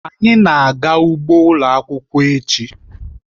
Anyị na-aga ugbo ụlọ akwụkwọ echi.